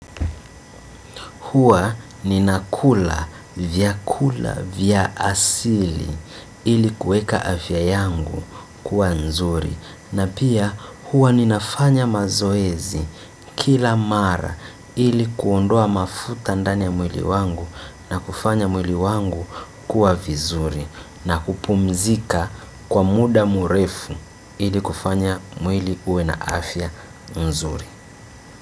Huwa ninakula vyakula vya asili ili kuweka afya yangu kuwa nzuri. Na pia huwa ninafanya mazoezi kila mara ili kuondoa mafuta ndani ya mwili wangu na kufanya mwili wangu kuwa mzuri, na kupumzika kwa muda mrefu ili kufanya mwili uwe na afya nzuri.